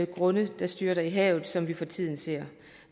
grunde der styrter i havet som vi for tiden ser